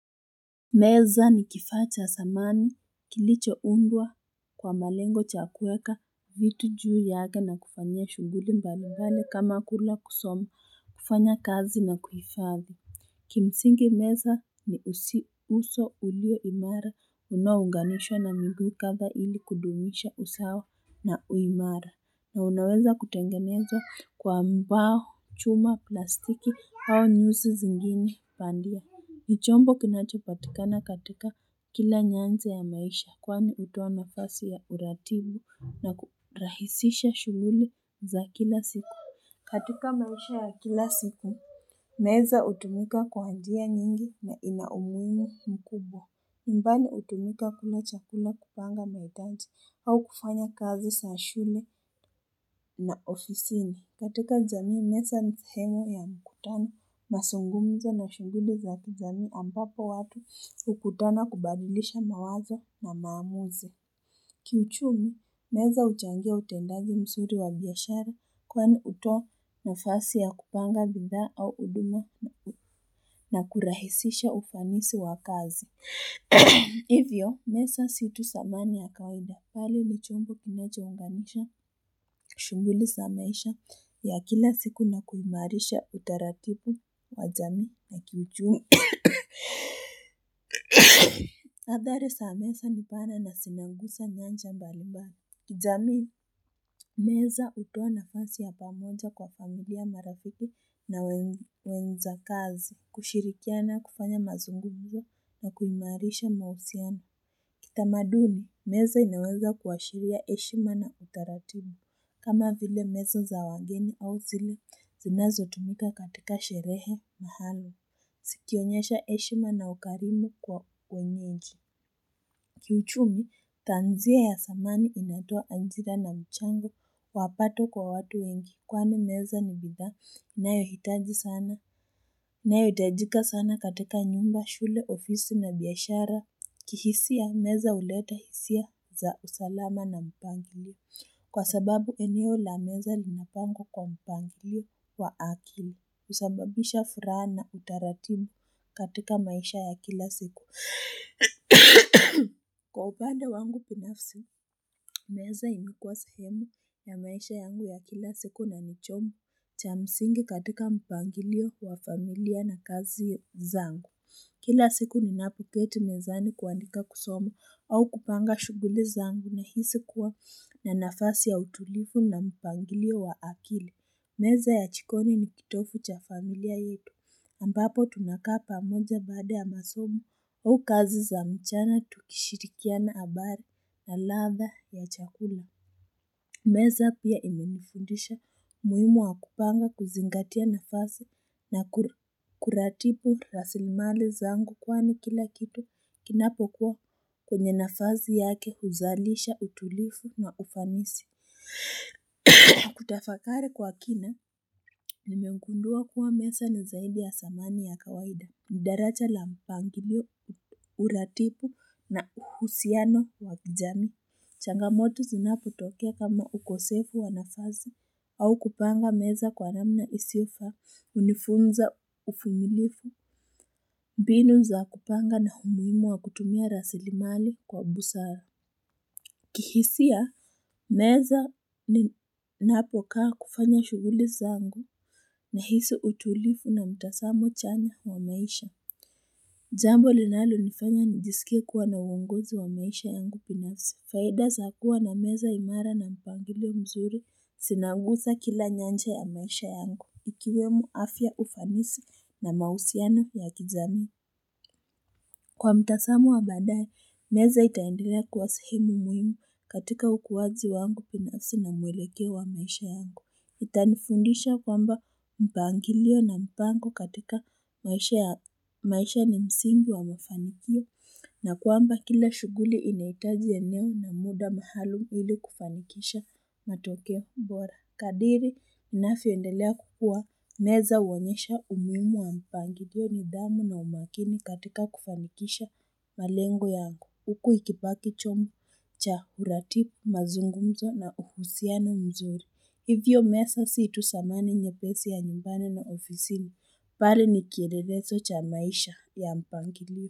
Meza ni kifaa cha samani kilicho undwa kwa malengo cha kuweka vitu juu yake na kufanyia shughuli mbali mbali kama kula kusoma kufanya kazi na kuhifadhi. Kimsingi meza ni usi uso ulio imara unaounganishwa na miguu kadhaa ili kudumisha usawa na uimara na unaweza kutengenezwa kwa mbao chuma plastiki au nyuzi zingine bandia. Ni chombo kinacho patikana katika kila nyanzi ya maisha kwani hutoa nafasi ya uratibu na kurahisisha shughuli za kila siku. Katika maisha ya kila siku, meza hutumika kwa njia nyingi na inaumuhimu mkubwa. Nyumbani hutumika kula chakula kupanga na utanzi au kufanya kazi za shule na ofisini. Katika jamii meza ni sehemu ya mkutano, mazungumzo na shughuli za kijamii ambapo watu hukutana kubadilisha mawazo na maamuzi. Kiuchumi, meza huchangia utendaji mzuri wa biashara kweni hutoa nafasi ya kupanga bidhaa au huduma na kurahisisha ufanisi wa kazi. Hivyo, meza si tu samani ya kawaida, bali ni chombo kinacho unganisha, shughuli za maisha ya kila siku na kuimarisha utaratibu wa jamii na kiuchumi Athari, za meza nipana na zinagusa nyanja mbalimbali kijamii, meza hutoa nafasi ya pamoja kwa familia marafiki na wenza kazi, kushirikiana kufanya mazungumzo na kuimarisha mahisoano Kitamaduni, meza inaweza kuashiria heshima na utaratibu. Kama vile meza za wageni au zile, zinazo tumika katika sherehe mahali. Zikionyesha heshima na ukarimu kwa wenyeji. Kiuchumi tanzia ya samani inatoa ajira na mchango wa pato kwa watu wengi kwani meza ni bidhaa inayo hitaji sana inayo hitajika sana katika nyumba shule ofisi na biashara kihisia meza huleta hisia za usalama na mpangilio kwa sababu eneo lameza linapangwa kwa mpangilio wa akili husababisha furaha na utaratibu katika maisha ya kila siku Kwa upande wangu binafsi, meza ilikuwa sehemu ya maisha yangu ya kila siku na ni chombo cha msingi katika mpangilio wa familia na kazi zangu Kila siku ninapoketi mezani kuandika kusoma au kupanga shughuli zangu nahisi kuwa na nafasi ya utulivu na mpangilio wa akili Meza ya jikoni ni kitovu cha familia yetu, ambapo tunakaa pamoja baada ya masomo au kazi za mchana tukishirikiana habari na ladha ya chakula. Meza pia imenifundisha umuhimu wa kupanga kuzingatia nafasi na kuratibu rasilimali zangu kwani kila kitu kinapo kuwa kwenye nafasi yake huzalisha utulivu na ufanisi. Kutafakari kwa kina ninmegundua kuwa meza ni zaidi ya samani ya kawaida Nidaraja la mpangilio uratibu na uhusiano wakijamii changamoto zinapo tokea kama ukosefu wa nafasi au kupanga meza kwa namna isio faa hunifunza uvumilivu mbinu za kupanga na umuhimu wa kutumia rasilimali kwa busara kihisia meza ninapokaa kufanya shughuli zangu nahisi utulivu na mtazamo chanya wa maisha jambo linalo nifanya nijisikie kuwa na uongozi wa maisha yangu binasi Faida za kuwa na meza imara na mpangilio mzuri zinaguza kila nyanja ya maisha yangu Ikiwemo afya ufanisi na mahusiano ya kijamii Kwa mtazamo wa baadaye, meza itaendelea kuwa sehemu muhimu katika ukuaji wangu binafsi na mwelekeo wa maisha yangu. Itanifundisha kwamba mpangilio na mpango katika maisha ni msingi wa mafanikio na kwamba kila shughuli inahitaji eneo na muda maalum ili kufanikisha matokeo bora. Kadri ninavyo endelea kukua meza huonyesha umuhimu wa mpangilio nidhamu na umakini katika kufanikisha malengo yangu huku ikibaki chombo cha uratibu mazungumzo na uhusiano mzuri hivyo meza si tu samani nyepesi ya nyumbani na ofisini balii nikielelezo cha maisha ya mpangilio.